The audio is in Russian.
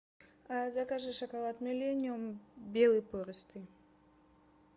закажи шоколад миллениум белый пористый